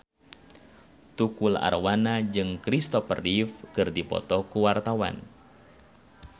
Tukul Arwana jeung Christopher Reeve keur dipoto ku wartawan